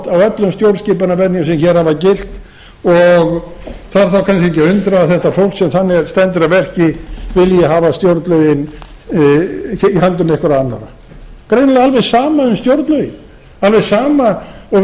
á öllum stjórnskipunarvenjum sem hér hafa gilt og þarf þá kannski ekki að undra að þetta fólk sem þannig stendur að verki vilji hafa stjórnlögin í höndum einhverra annarra greinilega alveg sama um stjórnlögin alveg sama og segi